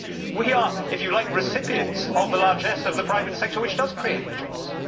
We are, if you like, recipients of the largesse of the private sector which does create the jobs.